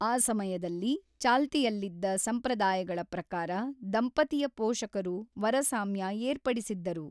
ಆ ಸಮಯದಲ್ಲಿ ಚಾಲ್ತಿಯಲ್ಲಿದ್ದ ಸಂಪ್ರದಾಯಗಳ ಪ್ರಕಾರ ದಂಪತಿಯ ಪೋಷಕರು ವರಸಾಮ್ಯ ಏರ್ಪಡಿಸಿದ್ದರು.